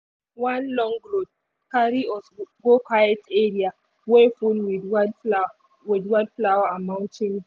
one long road carry us go quiet area wey full with wildflower and mountain view.